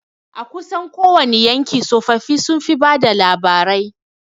A kusan kowani yanki tsofaffi sun fi bada labarai